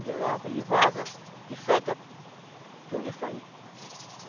Ele e vaza que seca tudo isso aí.